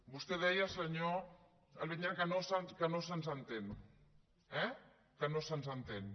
vostè deia senyor montañola que no se’ns entén eh que no se’ns entén